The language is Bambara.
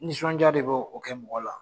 Nisɔndiya de b'o o kɛ mɔgɔ la